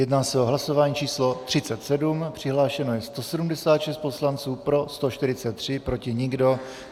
Jedná se o hlasování číslo 37, přihlášeno je 176 poslanců, pro 143, proti nikdo.